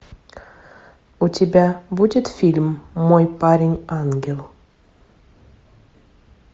у тебя будет фильм мой парень ангел